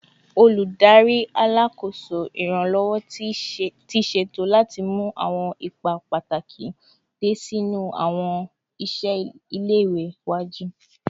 Oludari Alakoso Iranlọwọ ti ṣeto lati mu awọn ipa pataki diẹ sii ni awọn iṣẹ ile-iwe iwaju